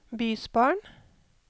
bysbarn